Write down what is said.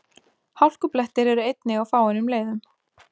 Hálkublettir eru einnig á fáeinum leiðum